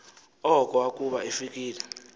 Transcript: oko akuba efikile